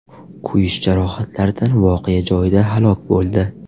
kuyish jarohatlaridan voqea joyida halok bo‘ldi.